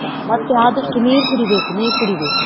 ಮತ್ತೆ ಆದಷ್ಟು ನೀರ್ ಕುಡಿಬೇಕು, ನೀರ್ ಕುಡಿಬೇಕು.